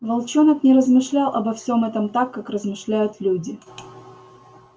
волчонок не размышлял обо всём этом так как размышляют люди